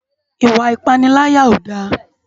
Iwa ipàniláyá ó dá